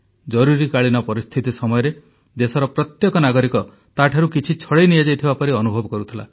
ଜରୁରୀକାଳୀନ ପରିସ୍ଥିତି ସମୟରେ ଦେଶର ପ୍ରତ୍ୟେକ ନାଗରିକ ତାଠାରୁ କିଛି ଛଡ଼ାଇ ନିଆଯାଇଥିବା ପରି ଅନୁଭବ କରୁଥିଲା